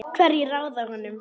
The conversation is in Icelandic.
Hverjir ráða honum?